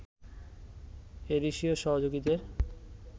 এদেশীয় সহযোগীদের